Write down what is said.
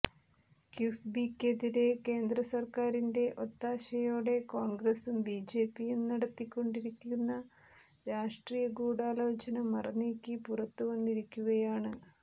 കിഫ്ബിക്കെതിരേ കേന്ദ്രസര്ക്കാരിന്റെ ഒത്താശയോടെ കോണ്ഗ്രസ്സും ബിജെപിയും നടത്തി കൊണ്ടിരിക്കുന്ന രാഷ്ട്രീയ ഗൂഢാലോചന മറനീക്കി പുറത്തുവന്നിരിക്കുകയാണ്